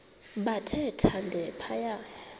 bathe thande phaya